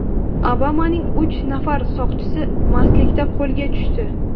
Obamaning uch nafar soqchisi mastlikda qo‘lga tushdi.